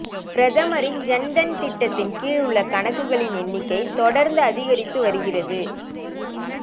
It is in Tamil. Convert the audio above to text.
பிரதமரின் ஜன் தன் திட்டத்தின் கீழ் உள்ள கணக்குகளின் எண்ணிக்கை தொடர்ந்து அதிகரித்து வருகிறது